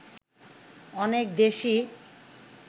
অনেক দেশই